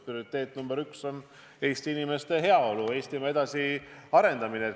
Prioriteet nr 1 on Eesti inimeste heaolu, Eestimaa arendamine.